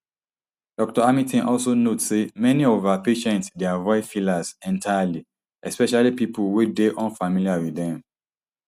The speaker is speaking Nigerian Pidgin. dr hamilton also note say many of her patients dey avoid fillers entirely especially pipo wey dey unfamiliar wit dem